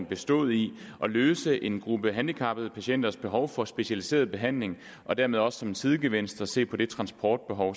bestod i at løse en gruppe handicappede patienters behov for specialiseret behandling og dermed også som en sidegevinst at se på det transportbehov